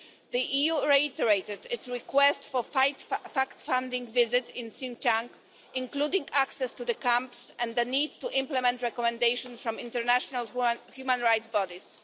The EU reiterated its request for a fact-finding visit to Xinjiang, including access to the camps and the need to implement recommendations from international human rights bodies.